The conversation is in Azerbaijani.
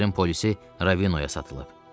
Şəhərin polisi Ravinoya satılıb.